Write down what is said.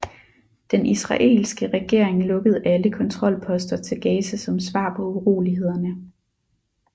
Den israelske regering lukkede alle kontrolposter til Gaza som svar på urolighederne